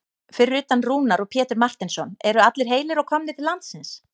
Fyrir utan Rúnar og Pétur Marteinsson eru allir heilir og komnir til landsins?